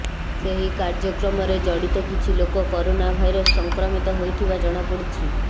ସେହି କାର୍ଯ୍ୟକ୍ରମରେ ଜଡିତ କିଛି ଲୋକ କରୋନା ଭାଇରସ୍ ସଂକ୍ରମିତ ହୋଇଥିବା ଜଣାପଡିଛି